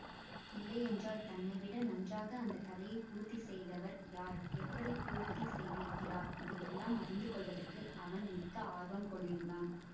இல்லையென்றால் தன்னைவிட நன்றாக அந்த கதையை பூர்த்தி செய்தவர் யார் எப்படி பூர்த்தி செய்திருக்கிறார் இதையெல்லாம் அறிந்து கொள்வதற்கு அவன் மிக்க ஆர்வம் கொண்டிருந்தான்